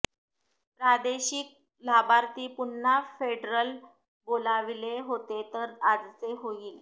प्रादेशिक लाभार्थी पुन्हा फेडरल बोलाविले होते तर आजचे होईल